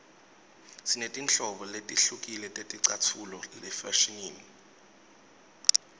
sinetinhlobo letihlukile teticatfulo efashinini